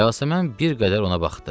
Yasəmən bir qədər ona baxdı.